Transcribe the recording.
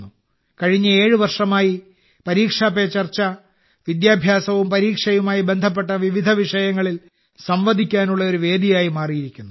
കഴിഞ്ഞ 7 വർഷമായി പരീക്ഷാ പേ ചർച്ച വിദ്യാഭ്യാസവും പരീക്ഷയുമായി ബന്ധപ്പെട്ട വിവിധ വിഷയങ്ങളിൽ സംവദിക്കാനുള്ള ഒരു വേദിയായി മാറിയിരിക്കുന്നു